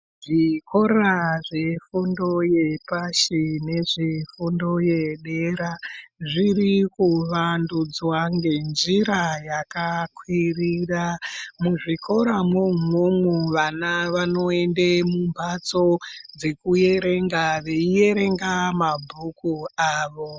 Zvikora zvedundo yepashi nezvefundo yedera zvirikuvandudzwa ngenjira yakakwirira. Mwuzvikoramwo umwomwo vana vanoende mumbatso dzekuerenga veierenga mabhuku avo.